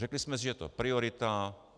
Řekli jsme si, že je to priorita.